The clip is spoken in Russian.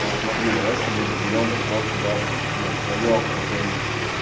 вот смотри давай с тобой разберём вот просто даже ну твоё окружение